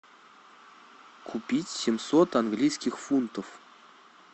купить семьсот английских фунтов